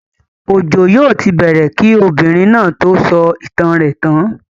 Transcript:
Òjo yóò ti bẹ̀ẹ̀rẹ̀ kí ọmọbìnrin náà tó sọ ìtàn rẹ̀ tán.